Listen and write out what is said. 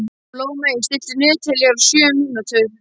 Blómey, stilltu niðurteljara á sjö mínútur.